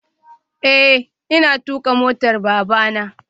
Eh ina tuka motar babana